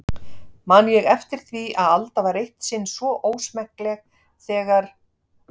Man ég eftir því að Alda var eitt sinn svo ósmekkleg þegar